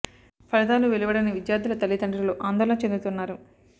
ఫలితాలు వెలువ డని విద్యా ర్థుల తల్లిదండ్రులు ఆందోళన చెందుతున్నారు